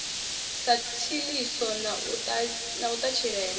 sa tshiḽiso na u ṱatshilelwa